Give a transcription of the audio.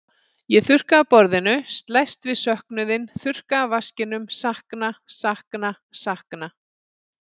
Ég þurrka af borðinu, slæst við söknuðinn, þurrka af vaskinum, sakna, sakna, sakna.